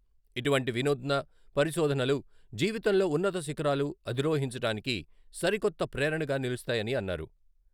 ఇటువంటి వినూత్న పరిశోధనలు జీవితంలో ఉన్నత శిఖరాలు అధిరోహించడానికి సరికొత్త ప్రేరణగా నిలుస్తాయని అన్నారు.